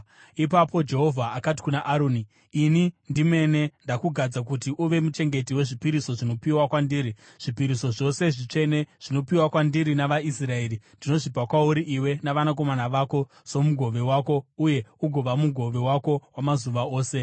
Ipapo Jehovha akati kuna Aroni, “Ini ndimene ndakugadza kuti uve muchengeti wezvipiriso zvinopiwa kwandiri; zvipiriso zvose zvitsvene zvinopiwa kwandiri navaIsraeri ndinozvipa kwauri iwe navanakomana vako somugove wako uye ugova mugove wako wamazuva ose.